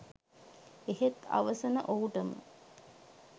එහෙත් අවසන ඔහුටම